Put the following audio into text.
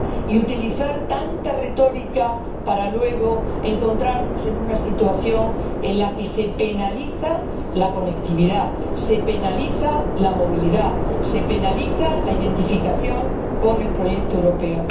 ni utilizar tanta retórica, para luego encontrarnos en una situación en la que se penaliza la conectividad, se penaliza la movilidad, se penaliza la identificación con el proyecto europeo.